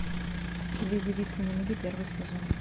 две девицы на мели первый сезон